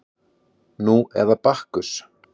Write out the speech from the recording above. Nú eða Bakkus